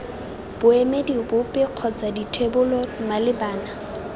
boemedi bope kgotsa dithebolo malebana